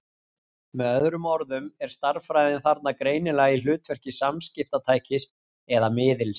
Með öðrum orðum er stærðfræðin þarna greinilega í hlutverki samskiptatækis eða-miðils.